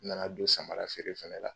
U nana don samarafeere fana la